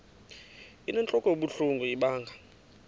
inentlok ebuhlungu ibanga